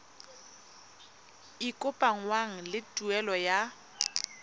e kopanngwang le tuelo ya